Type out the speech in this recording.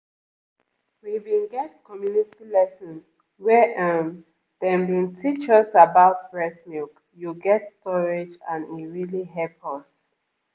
we bin get community lesson where um dem bin teach us about breast milk you get storage and e really hep us.